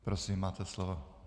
Prosím, máte slovo.